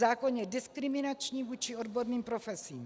Zákon je diskriminační vůči odborným profesím.